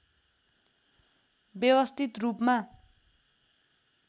व्यवस्थित रूपमा